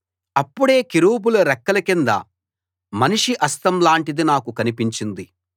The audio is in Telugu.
అప్పుడే కెరూబుల రెక్కల కింద మనిషి హస్తం లాంటిది నాకు కనిపించింది